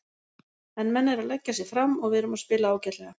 En menn eru að leggja sig fram og við erum að spila ágætlega.